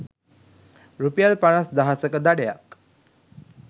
රුපියල් පනස් දහසක දඩයක්